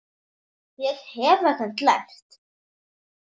Ég hef ekkert lært.